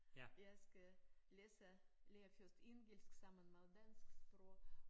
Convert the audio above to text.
Jeg skal læse lære først engelsk sammen med dansk sprog